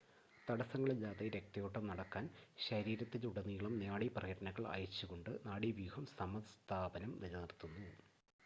തടസ്സങ്ങളില്ലാതെ രക്തയോട്ടം നടക്കാൻ ശരീരത്തിലുടനീളം നാഡി പ്രേരണകൾ അയച്ചുകൊണ്ട് നാഡീവ്യൂഹം സമസ്ഥാപനം നിലനിർത്തുന്നു